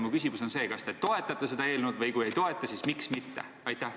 Ma küsingi: kas te toetate seda eelnõu ja kui ei toeta, siis miks mitte?